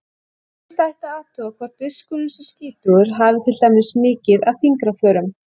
Fyrst ætti að athuga hvort diskurinn sé skítugur, hafi til dæmis mikið af fingraförum.